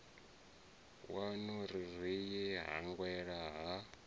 waṋu ri ye hangei ha